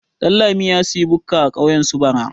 Ɗanlami ya sayi bukka a kauyen su bara.